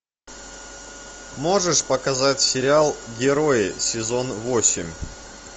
можешь показать сериал герои сезон восемь